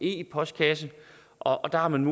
e postkasse og der har man